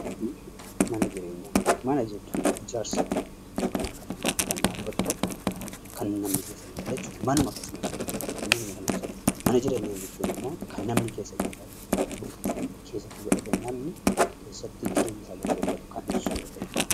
Manaa fi Mana Jireenyaa Mana jechuun ijaarsa tokko (akka manaatti kan dhaabbatu tokko) kan namni keessa hin galle jechuu dha. Manuma akkasumatti; manuma kana jechuu dha. Mana Jireenyaa jechuun immoo kan namni keessa jiraatu, bultii keessatti godhatee namni keessatti jireenya isaa geggeeffatu kan ibsu yoo ta'uu dha.